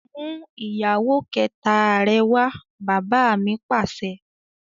"mú ìyàwó kẹta rẹ wá!" bàbá mi Pàṣẹ.